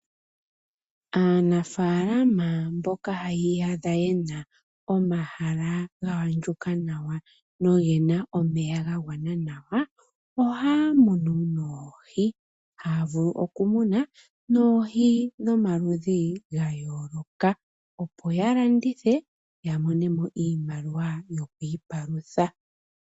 Aanafaalama mboka yi iyadha yena omahala ga andjuka nawa nogena omeya ga ganwa nawa, ohaya munu oohi, haya vulu okumuna oohi dhomaludhi gayooloka, opo yalandithe yamonemo iimaliwa yokwiipalutha.